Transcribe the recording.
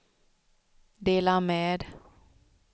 dela med